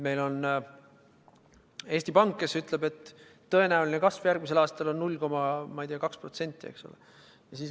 Meil on Eesti Pank, kes ütleb, et tõenäoline kasv järgmisel aastal on, ma ei tea, 0,2%.